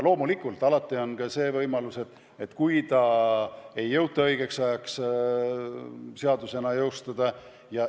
Loomulikult on võimalus, et seda ei jõuta õigeks ajaks seadusena jõustada.